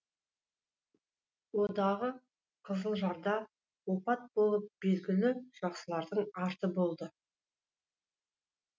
о дағы қызылжарда опат болып белгілі жақсылардың арты болды